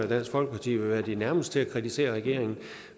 dansk folkeparti ville være de nærmeste til at kritisere regeringen